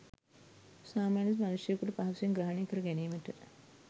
සාමාන්‍ය මනුෂ්‍යයෙකුට පහසුවෙන් ග්‍රහණය කරගැනීමට